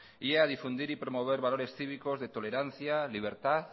y a difundir y a promover valores cívicos de tolerancia libertad